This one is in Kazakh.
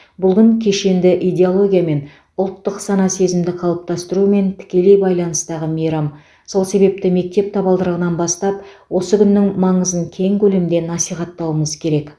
бұл күн кешенді идеологиямен ұлттық сана сезімді қалыптастырумен тікелей байланыстағы мейрам сол себепті мектеп табалдырығынан бастап осы күннің маңызын кең көлемде насихаттауымыз керек